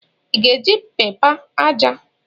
Ị ga-eji pẹpa aja?